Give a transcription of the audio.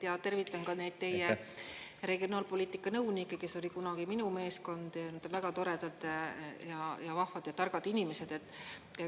Ja tervitan ka neid teie regionaalpoliitika nõunikke, kes oli kunagi minu meeskond, väga toredad ja vahvad ja targad inimesed.